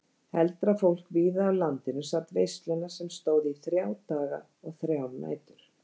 Heldra fólk víða af landinu sat veisluna sem stóð í þrjá daga og þrjár nætur.